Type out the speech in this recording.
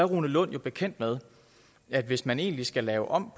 rune lund jo bekendt med at hvis man egentlig skal lave om